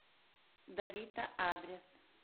давита адрес